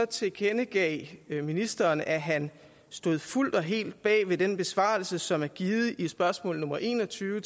tilkendegav ministeren at han stod fuldt og helt bag den besvarelse som er givet i spørgsmål nummer en og tyve